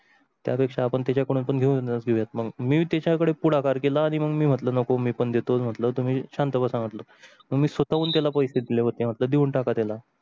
त्या पेक्षा आपण त्याच्याकडून घेऊन येत मग मी त्याच्याकडे पुढाकार केला आणि मग मी म्हटलं नको मी पण देतो म्हटलं तुम्ही शांत बसा म्हटलंतुम्ही स्वतः हून त्याला पैसे दिले होते तर देऊन टाका त्याला.